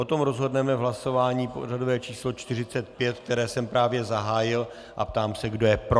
O tom rozhodneme v hlasování pořadové číslo 45, které jsem právě zahájil, a ptám se, kdo je pro.